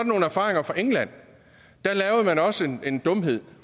nogle erfaringer fra england da lavede man også en dumhed